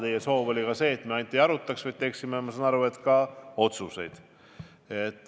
Teie soov on ka see, et me ainult ei arutaks, vaid teeksime, ma saan aru, ka otsuseid.